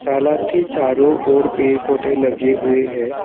तालाब के चारों ओर पेड़ पौधे लगे हुए हैं।